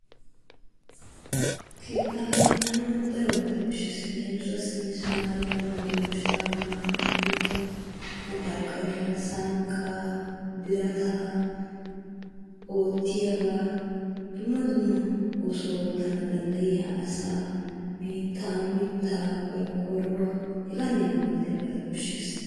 Keettaa keexxana wu darobata koshshes. Leemisuwaassi mismaariya, madooshaa, maaxefiya, maqarqariya, sanqqaa, birataa, oottiyagaa, dumma dumma oosuwa oottana dandayiya asaa, biittaa, mittaa, qorqqoruwa hegaanne hegaa malatiyaabata koshshes.